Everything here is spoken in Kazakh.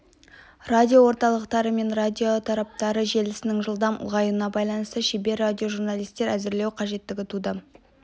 радиоорталықтары мен радиотораптары желісінің жылдам ұлғаюына байланысты шебер радиожурналистер әзірлеу қажеттігі туды